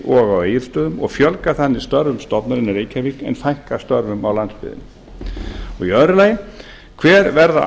og á egilsstöðum og fjölga þannig störfum stofnunarinnar í reykjavík en fækka störfum á landsbyggðinni annars hver verða